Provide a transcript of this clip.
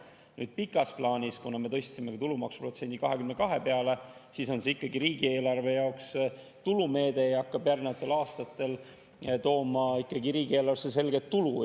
Nüüd, pikas plaanis, kuna me tõstsime ka tulumaksuprotsendi 22 peale, on see ikkagi riigieelarve jaoks tulumeede, mis hakkab järgnevatel aastatel tooma riigieelarvesse selget tulu.